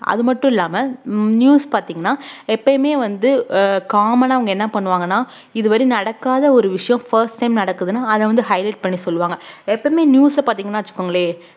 அது மட்டும் இல்லாம உம் news பாத்தீங்கன்னா எப்பயுமே வந்து ஆஹ் common ஆ அவங்க என்ன பண்ணுவாங்கன்னா இதுவரை நடக்காத ஒரு விஷயம் first time நடக்குதுன்னா அத வந்து highlight பண்ணி சொல்லுவாங்க எப்பவுமே news அ பாத்தீங்கன்னா வச்சுக்கோங்களே